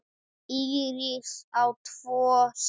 Íris á tvo syni.